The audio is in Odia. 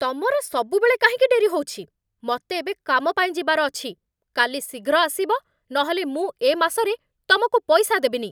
ତମର ସବୁବେଳେ କାହିଁକି ଡେରି ହଉଛି? ମତେ ଏବେ କାମ ପାଇଁ ଯିବାର ଅଛି! କାଲି ଶୀଘ୍ର ଆସିବ, ନହେଲେ ମୁଁ ଏ ମାସରେ ତମକୁ ପଇସା ଦେବିନି ।